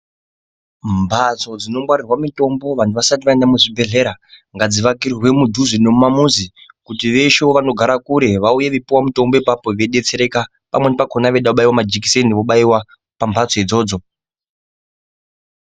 Mbatso dzinongwarirwa mutombo vanhu vasati vaenda kuzvibhedhlera ngadzivakirwe mudhuze nemumamuzi kuti veshe vanogara kure vauye vachipiwa mutombo ipapo veibetsereka pamweni vakona vachida kubaiwa majekiseni vobaiwa pamhatso idzodzo.